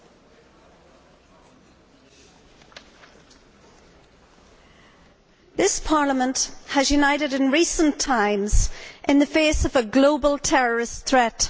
Mr President, this Parliament has united in recent times in the face of a global terrorist threat.